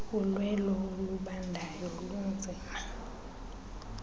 ulwelo olubandayo lunzima